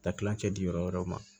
Ta kilancɛ di yɔrɔ wɛrɛw ma